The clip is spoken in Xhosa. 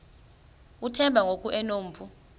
uthemba ngoku enompu